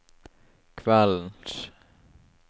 kveldens